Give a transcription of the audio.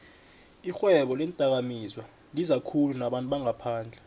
ixhwebo leendakamizwalizakhulu nabantu bangaphandle